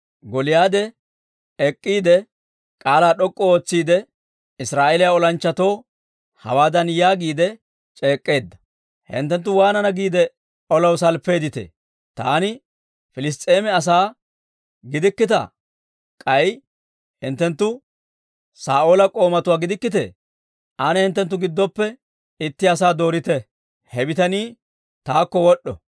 Gooliyaade ek'k'iide, k'aalaa d'ok'k'u ootsiide, Israa'eeliyaa olanchchatoo hawaadan yaagiide c'eek'k'eedda; «Hinttenttu waanana giide olaw salppeedditee? Taani Piliss's'eema asaa gidikkittaa? K'ay hinttenttu Saa'oola k'oomatuwaa gidikkitee? Ane hinttenttu giddoppe itti asaa doorite; he bitanii taakko wod'd'o.